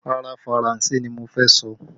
Rárá, Faranse ni mo fẹ́ sọ